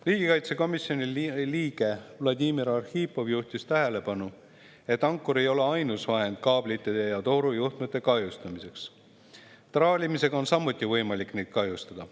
Riigikaitsekomisjoni liige Vladimir Arhipov juhtis tähelepanu, et ankur ei ole ainus vahend kaablite ja torujuhtmete kahjustamiseks, traalimisega on samuti võimalik neid kahjustada.